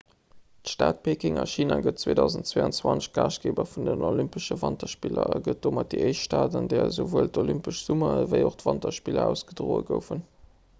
d'stad peking a china gëtt 2022 gaaschtgeeber vun den olympesche wanterspiller a gëtt domat déi éischt stad an där esouwuel d'olympesch summer ewéi och d'wanterspiller ausgedroe goufen